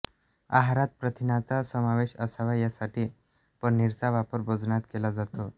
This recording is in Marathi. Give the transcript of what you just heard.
आहारात प्रथिनांचा समावेश असावा यासाठी पनीरचा वापर भोजनात केला जातो